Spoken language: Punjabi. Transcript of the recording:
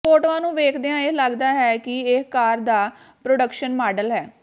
ਫੋਟੋਆਂ ਨੂੰ ਵੇਖਦਿਆਂ ਇਹ ਲੱਗਦਾ ਹੈ ਕਿ ਇਹ ਕਾਰ ਦਾ ਪ੍ਰੋਡਕਸ਼ਨ ਮਾਡਲ ਹੈ